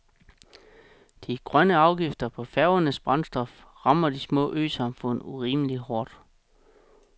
De grønne afgifter på færgers brændstof rammer de små øsamfund urimelig hårdt.